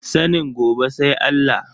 Sanin gobe sai Allah.